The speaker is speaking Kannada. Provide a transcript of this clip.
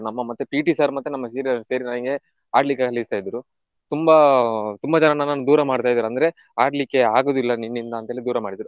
ನಮ್ಮ ಮತ್ತೆ PT sir ಮತ್ತೆ seniors ಸೇರಿ ನನಿಗೆ ಆಡ್ಲಿಕ್ಕೆ ಕಳಿಸ್ತಾ ಇದ್ರು. ತುಂಬಾ ತುಂಬಾ ಜನ ನನನ್ನು ದೂರ ಮಾಡ್ತಾ ಇದ್ರು ಅಂದ್ರೆ ಆಡ್ಲಿಕ್ಕೆ ಆಗುದಿಲ್ಲ ನಿನ್ನಿಂದ ಅಂತ ಹೇಳಿ ದೂರ ಮಾಡಿದ್ರು.